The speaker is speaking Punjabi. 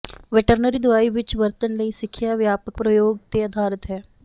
ਵੈਟਰਨਰੀ ਦਵਾਈ ਵਿੱਚ ਵਰਤਣ ਲਈ ਸਿੱਖਿਆ ਵਿਆਪਕ ਪ੍ਰਯੋਗ ਤੇ ਅਧਾਰਿਤ ਹੈ